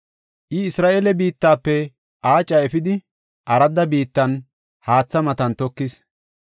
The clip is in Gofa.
I Isra7eele biittafe aaca efidi, aradda biittan, haatha matan tokis.